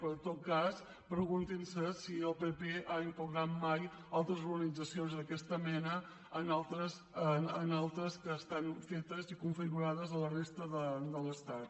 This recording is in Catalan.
però en tot cas preguntin se si el pp ha impugnat mai altres organitzacions d’aquesta mena en altres que estan fetes i configurades a la resta de l’estat